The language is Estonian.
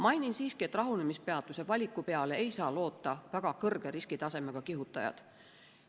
Mainin siiski, et rahunemispeatuse valiku peale ei saa loota väga kõrge riskitasemega kihutajad.